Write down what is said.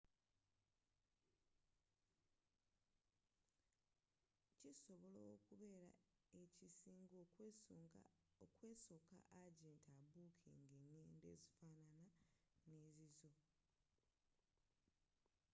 kisobola okubeera ekisinga okwesooka agenti abookinga engendo ezifaanagana ne zizo